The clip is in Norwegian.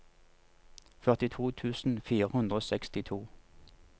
førtito tusen fire hundre og sekstito